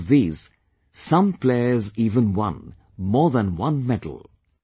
Out of these, some players even won more than one medal